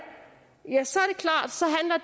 ja så